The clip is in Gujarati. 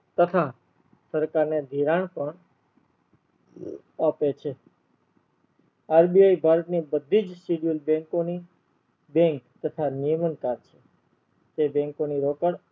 તથા સરકાર ને ધિરાણ પણ આપે છે RBI ભારત ની બધીજ schedule bank ઓ ની bank તથા નિયમન કર છે તે bank ની રોકડ